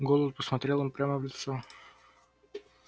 голод посмотрел им прямо в лицо